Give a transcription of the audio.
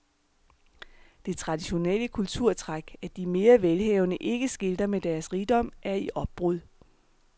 Det traditionelle kulturtræk, at de mere velhavende ikke skilter med deres rigdom, er i opbrud.